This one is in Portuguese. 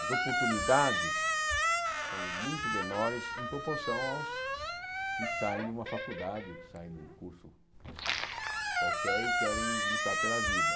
As oportunidades são muito menores em proporção aos que saem de uma faculdade, ou que saem de um curso qualquer e querem lutar pela vida.